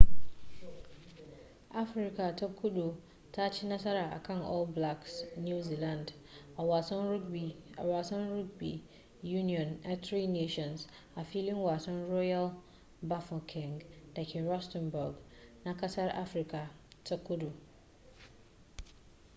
afirka ta kudu ta ci nasara akan all blacks new zealand a wasan rugby union na tri nations a filin wasan royal bafokeng dake rustenburg na kasar afirka ta kudu